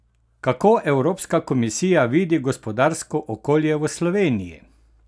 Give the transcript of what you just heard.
Kako evropska komisija vidi gospodarsko okolje v Sloveniji?